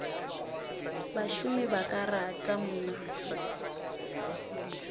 bašomi ba ka rata mna